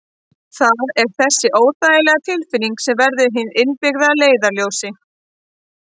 Það er þessi óþægilega tilfinning sem verður hið innbyggða leiðarljós.